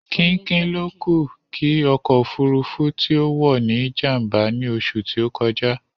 Kínkín lókù kí ọkọ̀ òfúrufú tí ó wọ̀ ní jàm̀bà ní oṣù tí ó kọjá